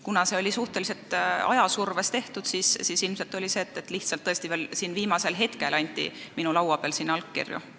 Kuna see sai tehtud suhteliselt ajasurve all, siis oli tõesti nii, et veel viimasel hetkel anti siin minu laua peal allkirju.